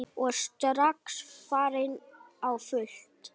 Og strax farin á fullt.